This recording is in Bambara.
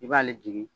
I b'ale jigi